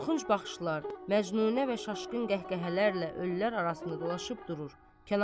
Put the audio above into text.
Qorxunc baxışlar məcnunə və şaşkın qəhqəhələrlə ölülər arasında dolaşıb durur.